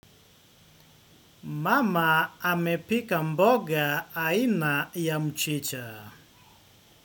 Mama amepika mboga aina ya mchicha.